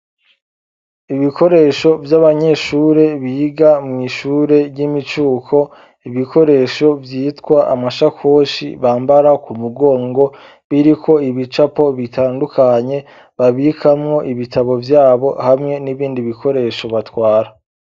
Ibikoresho vy'abanyeshure biga mw'ishure ry'imicuko ibikoresho vyitwa amashakoshi bambara ku mugongo biriko ibicapo bitandukanye babikamwo ibitabo vyabo hamwe n'ibindi bikoresho batwara.